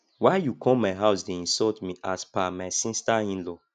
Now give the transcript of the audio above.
why you come my house dey insult me as per my sister inlaw